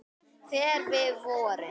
Þegar við vorum.